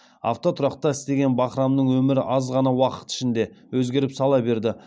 автотұрақта істеген бахрамның өмірі аз ғана уақыт ішінде өзгеріп сала берді